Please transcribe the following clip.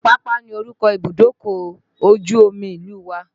Apapa ni orúkọ Ibùdókọ̀ ojú omi ìlú wa.